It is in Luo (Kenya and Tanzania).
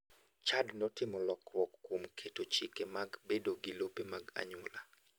Chad notimo lokruok kuom keto chike mag bedo gi lope mar anyuola.